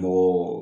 Mɔgɔ